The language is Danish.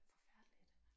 Forfærdeligt